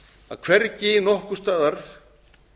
að hvergi nokkurs staðar